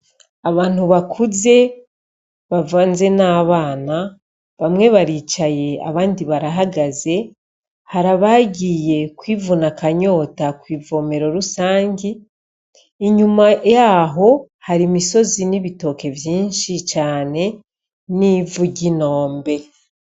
Abantu bakuze bavanze n'abana bamwe baricaye abandi barahagaze hari abagiye kwivuna akanyota kwivomero rusangi inyuma yaho hari imisozi n'ibitoke vyinshi cane n'ivu ry'inombe.